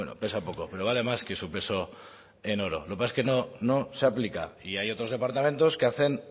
pesa poco pero vale más que su peso en oro lo que pasa es que no se aplica y hay otros departamentos que hacen